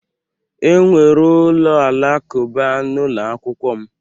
Enwere ụlọ alakụba n'ụlọ akwụkwọ m.